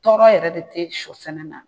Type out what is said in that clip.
Tɔɔrɔ yɛrɛ de tɛ sɔ sɛnɛ na